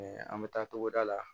an bɛ taa togoda la